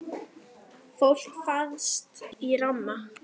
Fólk fast í ramma?